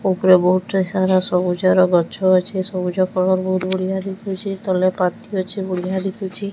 ଉପରେ ବୋହୁତ୍ ଟେ ସାରା ସବୁଜର ଗଛ ଅଛେ। ସବୁଜ କଲର୍ ବୋହୁତ୍ ବଢିଆ ଦେଖୁଚି। ତଲେ ପାନ୍ଥି ଅଛି ବଢିଆ ଦେଖୁଛି।